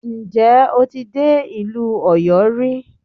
Ǹjẹ́ o ti dé ìlú Ọ̀yọ́ rí?